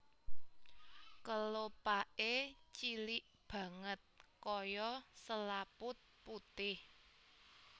Kelopaké cilik banget kaya selaput putih